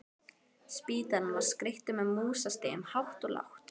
Spítalinn var skreyttur með músastigum hátt og lágt.